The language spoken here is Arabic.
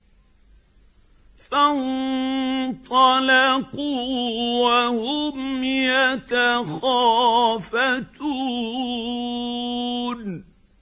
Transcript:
فَانطَلَقُوا وَهُمْ يَتَخَافَتُونَ